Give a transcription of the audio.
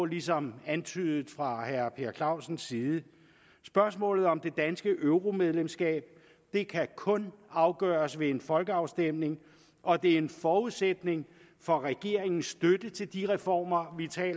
ligesom antydet fra herre per clausens side spørgsmålet om det danske euromedlemskab kan kun afgøres ved en folkeafstemning og det er en forudsætning for regeringens støtte til de reformer